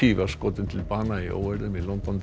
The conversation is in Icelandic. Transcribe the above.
var skotin til bana í óeirðum í